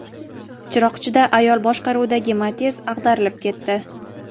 Chiroqchida ayol boshqaruvidagi Matiz ag‘darilib ketdi.